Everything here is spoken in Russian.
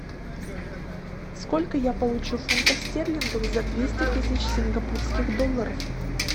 сколько я получу фунтов стерлингов за двести тысяч сингапурских долларов